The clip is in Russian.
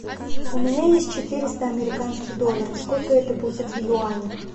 у меня есть четыреста американских долларов сколько это будет в юанях